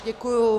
Děkuji.